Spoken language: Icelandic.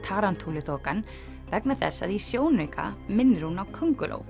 Tarantúluþokan vegna þess að í sjónauka minnir hún á könguló